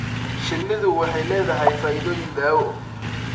Shinnidu waxay leedahay faa'iidooyin daawo.